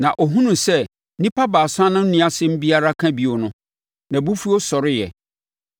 Na ɔhunuu sɛ nnipa baasa no nni asɛm biara ka bio no, nʼabufuo sɔreeɛ.